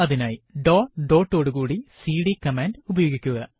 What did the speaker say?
അതിനായി dot dot ഓടു കൂടി സിഡി കമാൻഡ് ഉപയോഗിക്കുക